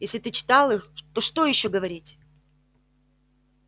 если ты читал их то что ещё говорить